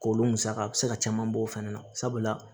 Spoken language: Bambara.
K'olu musaka a bɛ se ka caman bɔ o fɛnɛ na sabula